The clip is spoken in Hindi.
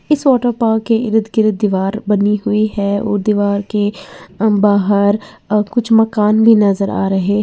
इस वाटर पार्क के इर्द गिर्द दीवार बनी हुई है और दीवार के बाहर अ कुछ मकान भी नजर आ रहे --